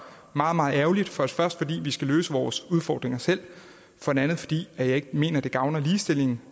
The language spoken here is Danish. meget meget ærgerligt for det første fordi vi skal løse vores udfordringer selv for det andet fordi jeg ikke mener at det gavner ligestillingen